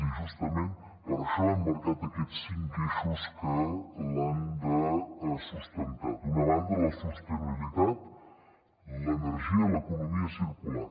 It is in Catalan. i justament per això hem marcat aquests cinc eixos que l’han de sustentar d’una banda la sostenibilitat l’energia i l’economia circular